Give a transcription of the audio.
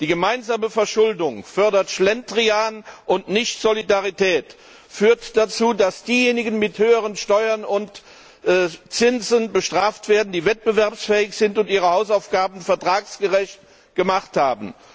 Die gemeinsame Verschuldung fördert den Schlendrian und nicht die Solidarität, führt dazu, dass diejenigen mit höheren Steuern und Zinsen bestraft werden, die wettbewerbsfähig sind und ihre Hausaufgaben vertragsgerecht gemacht haben.